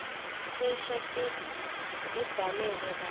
cishe tibhaleke kahle